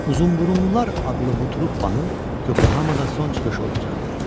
Uzunburunlular adlı bu truppanın Yokohamada son çıxışı olacaqdı.